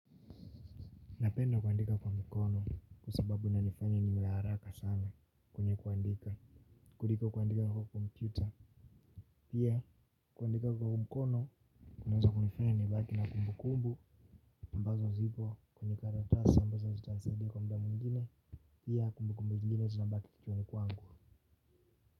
Napenda kuandika kwa mkono kwa sababu inanifanya niwe haraka sana kwenye kuandika. Kuliko kuandika kwa kompyuta. Pia kuandika kwa mkono. Kunaweza kunifanya nibaki na kumbu kumbu ambazo zipo kwenye karatasi ambazo zita nisaidi kwa muda mwingine. Pia kumbu kumbu zingine zina baki kichwani kwangu.